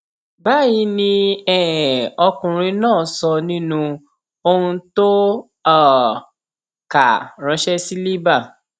báyìí ni um ọkùnrin náà sọ nínú ohun tó um kà ránṣẹ sí libre